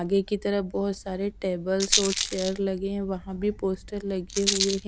आगे की तरफ बहुत सारे टेबल्स और चेयर लगे हैं वहां भी पोस्टर लगे हुए हैं।